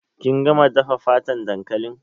Kin gama dafa fatan dankalin?